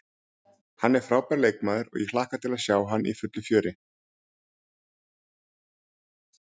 Hann er frábær leikmaður og ég hlakka til að sjá hann í fullu fjöri.